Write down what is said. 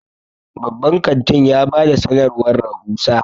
babban kantin ya ba da sanarwar rahusa